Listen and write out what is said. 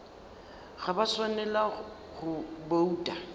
ga ba swanela go bouta